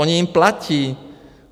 Oni jim platí!